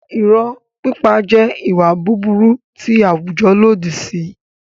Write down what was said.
Irọ́ pípa jẹ́ ìwà búburú tí àwùjọ lòdì sí.